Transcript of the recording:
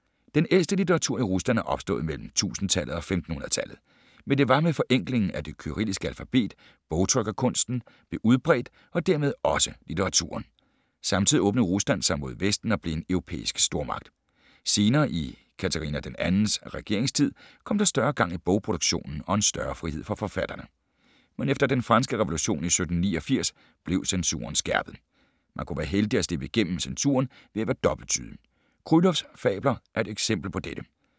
Den ældste litteratur i Rusland er opstået mellem 1000-tallet og 1500-tallet. Men det var med forenklingen af det kyrilliske alfabet, bogtrykkerkunsten blev udbredt og dermed også litteraturen. Samtidig åbnede Rusland sig mod Vesten og blev en europæisk stormagt. Senere i Katarina 2. regeringstid kom der større gang i bogproduktionen og en større frihed for forfatterne. Men efter den franske revolution i 1789 blev censuren skærpet. Man kunne være heldig at slippe gennem censuren ved være dobbelttydig. Krylovs fabler er et eksempel på dette.